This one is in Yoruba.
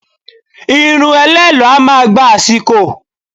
Irun ẹlẹ́lọ̀ọ́ a máa gba àsìkò